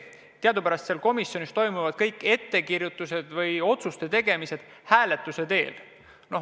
Teadupärast komisjonis otsustatakse kõik ettekirjutused ja muud tegemised hääletuse teel.